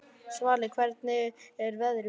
Svali, hvernig er veðrið úti?